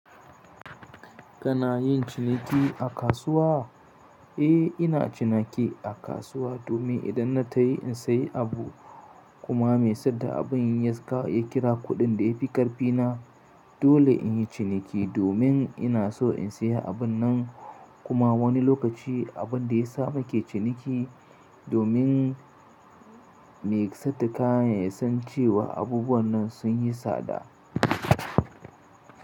Kana yin ciniki a kasuwa? Eh, ina ciniki a kasuwa domin idan na tafi in sayi abu kuma mai saida abin yaƙa ya kira kuɗin da ya fi ƙarfi na dole in yi ciniki domin ina so in sayi abun nan kuma wani lokaci abun da ya samu ke ciniki domin mai saida kayan ya san cewa abubuwan nan sun yi tsada.